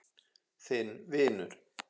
Þinn vinur.